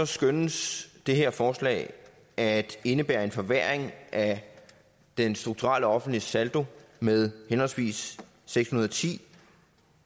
skønnes det her forslag at indebære en forværring af den strukturelle offentlige saldo med henholdsvis seks hundrede og ti